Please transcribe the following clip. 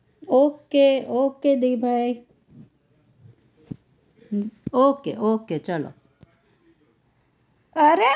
okay okay દિભાઈ okay okay ચલો અરે